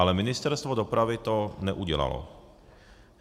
Ale Ministerstvo dopravy to neudělalo.